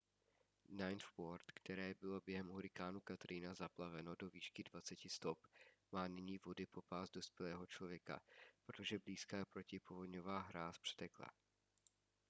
ninth ward které bylo během hurikánu katrina zaplaveno do výšky 20 stop má nyní vody po pás dospělého člověka protože blízká protipovodňová hráz přetekla